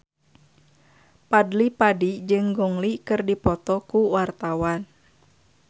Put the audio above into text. Fadly Padi jeung Gong Li keur dipoto ku wartawan